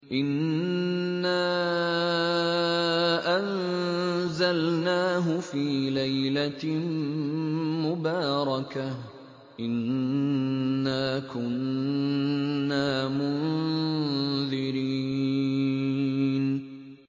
إِنَّا أَنزَلْنَاهُ فِي لَيْلَةٍ مُّبَارَكَةٍ ۚ إِنَّا كُنَّا مُنذِرِينَ